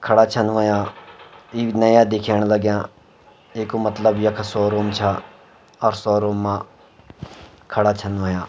खड़ा छन हुयां इ नया दिखेंण लग्याँ इक मतलब यख शोरूम छा अर शोरूम मा खड़ा छन हुयां।